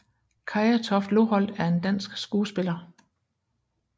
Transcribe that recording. Kaya Toft Loholt er en dansk skuespiller